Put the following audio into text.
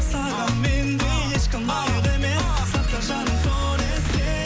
саған мендей ешкім лайық емес сақта жаным соны есте